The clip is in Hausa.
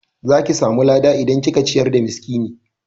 Zaki samu lada idan kika ciyar da miskini